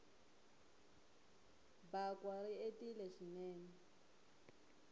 bakwa ri entile swinene